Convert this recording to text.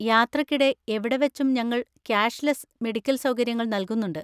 യാത്രയ്ക്കിടെ എവിടെവെച്ചും ഞങ്ങൾ ക്യാഷ്‌ലെസ്സ് മെഡിക്കൽ സൗകര്യങ്ങൾ നൽകുന്നുണ്ട്.